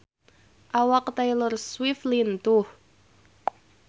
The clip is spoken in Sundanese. Awak Taylor Swift lintuh